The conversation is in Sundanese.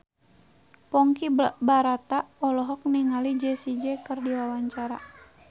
Ponky Brata olohok ningali Jessie J keur diwawancara